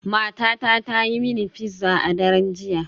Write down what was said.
Matata ta yi mini pizza a daren jiya.